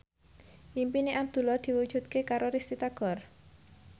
impine Abdullah diwujudke karo Risty Tagor